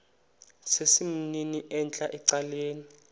sesimnini entla ecaleni